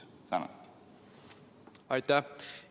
Aitäh!